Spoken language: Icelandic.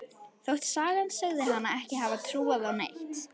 Þótt sagan segði hana ekki hafa trúað á neitt.